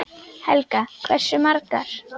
Helga: Hversu margar?